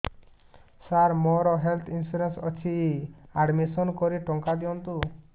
ସାର ମୋର health insurance ଅଛି admission କରି ଟଙ୍କା ଦିଅନ୍ତୁ